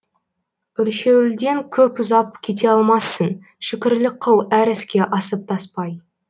өлшеуілден көп ұзап кете алмассың шүкірлік қыл әр іске асып таспай